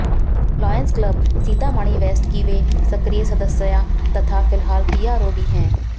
lioness club Sitamarhi west की वे सक्रिय सदस्या तथा फिलहाल पीआरओ भी हैं